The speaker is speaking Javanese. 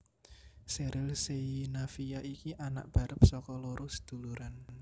Sheryl Sheinafia iki anak barep saka loro seduluran